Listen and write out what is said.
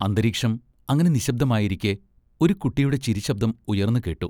അന്തരീക്ഷം അങ്ങനെ നിശ്ശബ്ദമായിരിക്കെ, ഒരു കുട്ടിയുടെ ചിരിശബ്ദം ഉയർന്നുകേട്ടു.